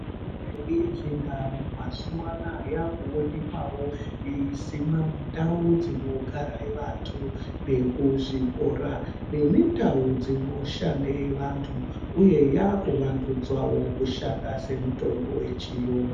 Mitombo yedu yechindau mazuvano aya yakuwonekwawo yeisimwa mundau dzinogare vantu nekuzvikora nemundau dzinoshande vantu uye yakuvandudzwawo kushanda semitombo yechiyungu.